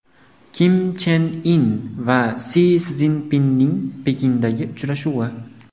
Kim Chen In va Si Szinpinning Pekindagi uchrashuvi.